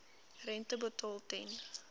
rente betaal ten